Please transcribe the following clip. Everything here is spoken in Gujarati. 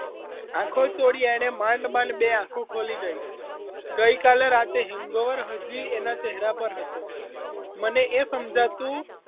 આંખો ચોળી એણે માંડ માંડ બે આંખો ખોલી ગઈ ગઈ કાલે રાતે hangover હજી એના ચહેરા પર હતું મને એ સમજાતું